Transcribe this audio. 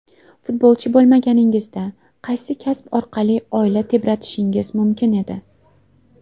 Futbolchi bo‘lmaganingizda, qaysi kasb orqali oila tebratishingiz mumkin edi?